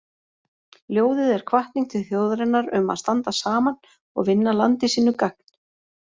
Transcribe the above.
Ljóðið er hvatning til þjóðarinnar um að standa saman og vinna landi sínu gagn.